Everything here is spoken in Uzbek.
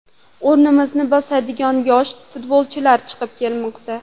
O‘rnimizni bosadigan yosh futbolchilar chiqib kelmoqda.